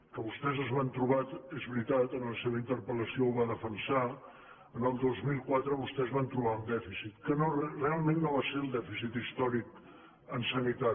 que vostès es van trobar és veri·tat en la seva interpel·lació ho va defensar en el dos mil quatre vostès van trobar un dèficit que realment no va ser el dèficit històric en sanitat